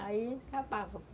Aí, acabava.